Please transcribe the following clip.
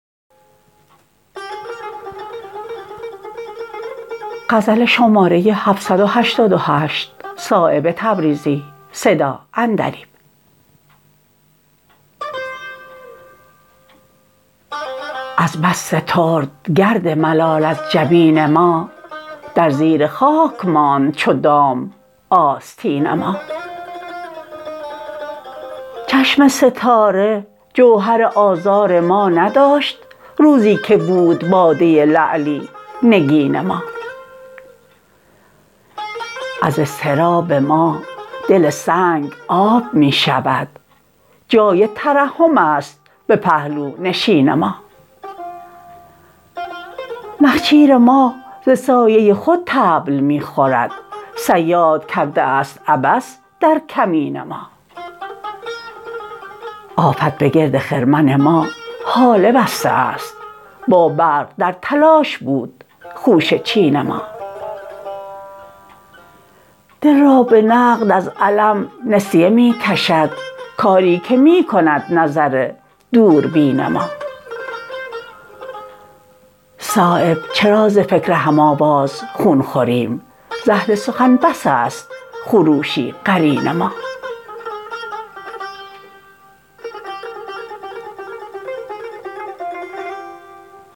از بس سترد گرد ملال از جبین ما در زیر خاک ماند چو دام آستین ما چشم ستاره جوهر آزار ما نداشت روزی که بود باده لعلی نگین ما از اضطراب ما دل سنگ آب می شود جای ترحم است به پهلونشین ما نخجیر ما ز سایه خود طبل می خورد صیاد کرده است عبث در کمین ما آفت به گرد خرمن ما هاله بسته است با برق در تلاش بود خوشه چین ما دل را به نقد از الم نسیه می کشد کاری که می کند نظر دوربین ما صایب چرا ز فکر هم آواز خون خوریم ز اهل سخن بس است خروشی قرین ما